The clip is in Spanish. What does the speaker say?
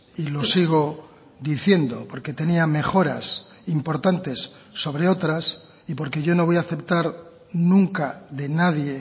y lo sigo diciendo porque tenía mejoras importantes sobre otras y porque yo no voy a aceptar nunca de nadie